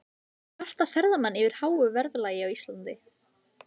En kvarta ferðamenn yfir háu verðlagi á Íslandi?